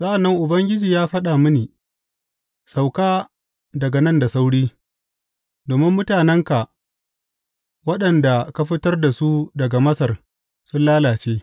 Sa’an nan Ubangiji ya faɗa mini, Sauka daga nan da sauri, domin mutanenka waɗanda ka fitar da su daga Masar sun lalace.